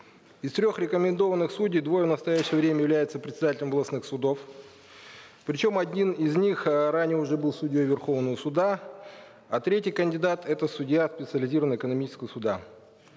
из трех рекомендованных судей двое в настоящее время являются председателями областных судов причем один из них э ранее уже был судьей верховного суда а третий кандидат это судья специализированного экономического суда